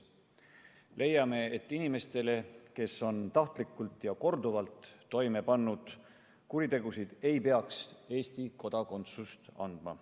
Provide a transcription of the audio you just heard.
Leiame, et inimestele, kes on tahtlikult ja korduvalt toime pannud kuritegusid, ei peaks Eesti kodakondsust andma.